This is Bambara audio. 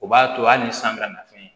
O b'a to hali ni san bɛna na fɛn ye